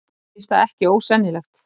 Mér finnst það ekki ósennilegt.